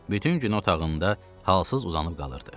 Bütün gün otağında halsız uzanıb qalırdı.